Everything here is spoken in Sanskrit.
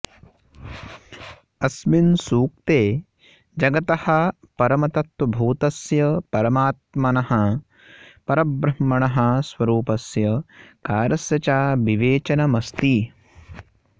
अस्मिन् सूक्ते जगतः परमतत्त्वभूतस्य परमात्मनः परब्रह्मणः स्वरूपस्य कार्यस्य च विवेचनमस्ति